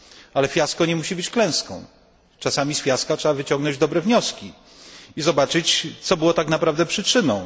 Ale fiasko nie musi być klęską, czasami z fiaska trzeba wyciągnąć dobre wnioski i zobaczyć co było tak naprawdę przyczyną.